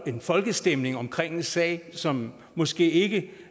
en folkestemning omkring en sag som måske ikke